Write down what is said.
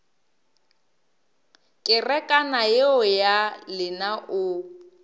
kerekana yeo ya lena o